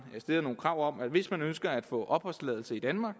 stiller nogle krav om at hvis man ønsker at få opholdstilladelse i danmark